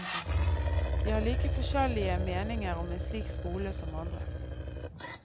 De har like forskjellige meninger om en slik skole som andre.